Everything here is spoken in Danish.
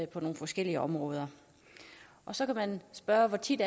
på nogle forskellige områder så kan man spørge om hvor tit